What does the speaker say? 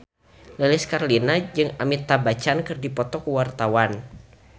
Lilis Karlina jeung Amitabh Bachchan keur dipoto ku wartawan